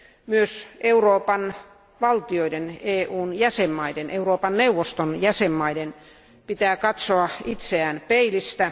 Myös Euroopan valtioiden, EUn jäsenvaltioiden, Euroopan neuvoston jäsenvaltioiden pitää katsoa itseään peilistä.